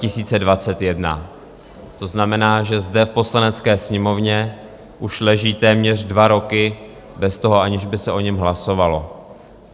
To znamená, že zde v Poslanecké sněmovně už leží téměř dva roky bez toho, aniž by se o něm hlasovalo.